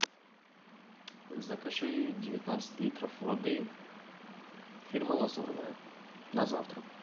закажи девятнадцать литров воды фирмы лазурная на завтра